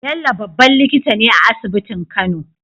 Bello babban likitane a asibitin kano